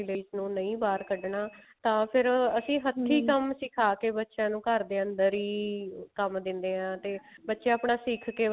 ladies ਨੂੰ ਨਹੀਂ ਬਾਹਰ ਕੱਢਣਾ ਤਾਂ ਫ਼ੇਰ ਅਸੀਂ ਹੱਥੀ ਸਿਖਾ ਕੇ ਬੱਚਿਆਂ ਨੂੰ ਘਰ ਦੇ ਅੰਦਰ ਹੀ ਕੰਮ ਦਿੰਦੇ ਆਂ ਤੇ ਬੱਚੇ ਆਪਣਾ ਸਿਖ ਕੇ ਵਧਾਈ